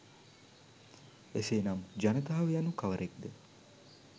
එසේනම් ජනතාව යනු කවරෙක්ද